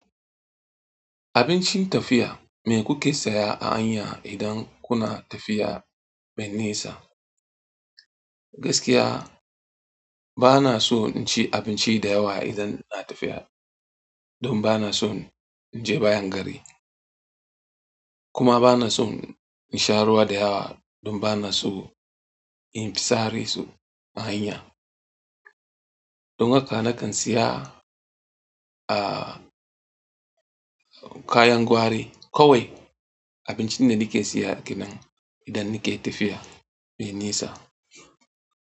Abincin tafiya me kuke saya a hanya idan kuna tafiya mai nisa? Gaskiya bana so in ci abinci da yawa idan ina tafiya don bana son in je bayan gari kuma bana son in sha ruwa da yawa don bana so in fitsari su a hanya. Don haka nakan saya, ah, kayan gwari kawai. Abincin da nike saya kenan idan nike tafiya mai nisa.